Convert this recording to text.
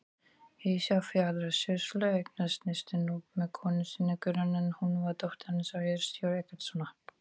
Ísafjarðarsýslu, eignaðist fyrstur Núp með konu sinni, Guðrúnu, en hún var dóttir Hannesar hirðstjóra Eggertssonar.